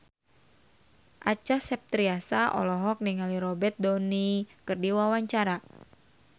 Acha Septriasa olohok ningali Robert Downey keur diwawancara